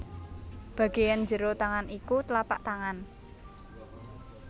Bagéan njero tangan iku tlapak tangan